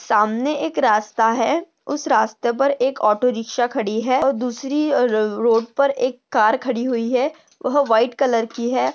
सामने एक रास्ता है उस रास्ते पर एक ऑटो रिक्षा खड़ी है और दूसरी र रोड पर एक कार खड़ी हुई है वह व्हाइट कलर की है।